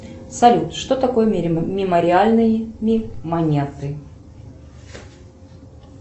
салют что такое мемориальные монеты